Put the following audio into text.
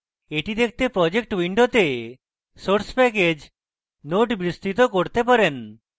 এটি দেখতে projects window source package node বিস্তৃত করতে পারেন